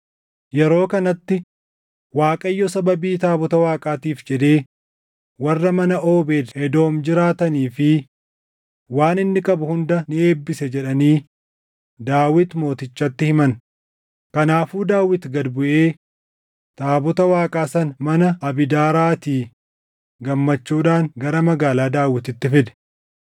Yeroo kanatti, “ Waaqayyo sababii taabota Waaqaatiif jedhee warra mana Oobeed Edoom jiraatanii fi waan inni qabu hunda ni eebbise” jedhanii Daawit Mootichatti himan. Kanaafuu Daawit gad buʼee taabota Waaqaa sana mana Abiidaaraatii gammachuudhaan gara Magaalaa Daawititti fide.